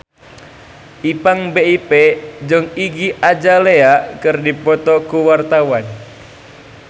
Ipank BIP jeung Iggy Azalea keur dipoto ku wartawan